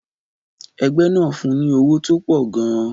Ẹgbẹ́ náà fun ní owó tó pọ̀ gan-an.